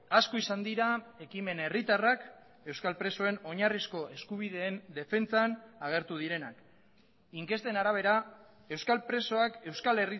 asko izan dira ekimen herritarrak euskal presoen oinarrizko eskubideen defentsan agertu direnak inkesten arabera euskal presoak euskal